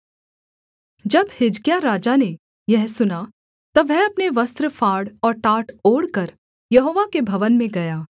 जब हिजकिय्याह राजा ने यह सुना तब वह अपने वस्त्र फाड़ और टाट ओढ़कर यहोवा के भवन में गया